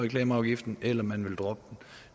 reklameafgiften eller man vil droppe